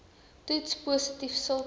toets positief sulke